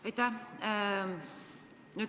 Aitäh!